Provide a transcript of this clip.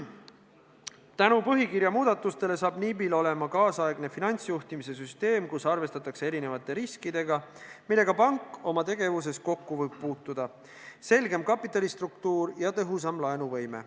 Tänu põhikirja muudatustele saab NIB-il olema nüüdisaegne finantsjuhtimise süsteem, kus arvestatakse erinevate riskidega, millega pank oma tegevuses kokku võib puutuda, selgem kapitalistruktuur ja tõhusam laenuvõime.